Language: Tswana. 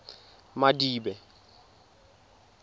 madibe